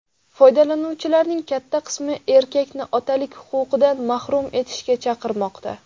Foydalanuvchilarning katta qismi erkakni otalik huquqidan mahrum etishga chaqirmoqda.